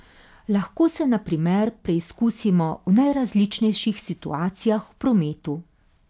Lahko se na primer preizkusimo v najrazličnejših situacijah v prometu.